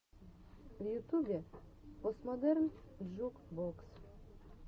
в ютюбе постмодерн джук бокс